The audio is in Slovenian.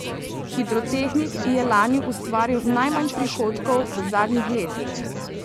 Hidrotehnik je lani ustvaril najmanj prihodkov z zadnjih letih.